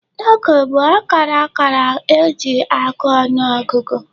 N'oge gboo, akara akara ka e ji agụ ọnụ ọgụgụ.